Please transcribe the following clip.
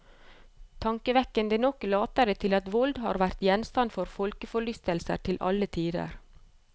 Tankevekkende nok later det til at vold har vært gjenstand for folkeforlystelse til alle tider.